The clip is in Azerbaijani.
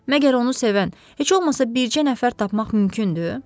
Məgər onu sevən heç olmasa bircə nəfər tapmaq mümkündür?